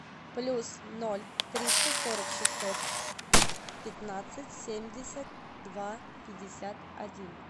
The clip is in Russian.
плюс ноль триста сорок шестьсот пятнадцать семьдесят два пятьдесят один